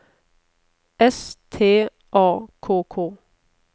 S T A K K